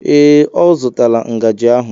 Ee, ọ zụtala ngaji ahụ